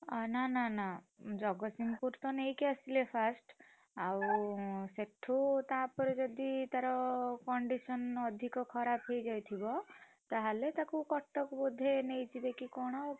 ଅ ନାଁ ନାଁ ଜଗତସିଂହପୁର ତ ନେଇକି ଆସିଲେ first ଆଉ ସେଠୁ, ତାପରେ ଯଦି ତାର condition ଅଧିକ ଖରାପ ହେଇଯାଇଥିବ, ତାହେଲେ ତାକୁ କଟକ ବୋଧେ ନେଇଯିବେ କି କଣ।